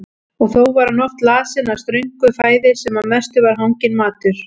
Og þó var hún oft lasin af ströngu fæði sem að mestu var hanginn matur.